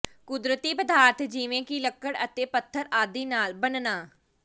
ਕੁਦਰਤੀ ਪਦਾਰਥ ਜਿਵੇਂ ਕਿ ਲੱਕੜ ਅਤੇ ਪੱਥਰ ਆਦਿ ਨਾਲ ਬਣਨਾ